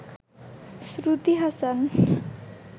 Shruti Hasan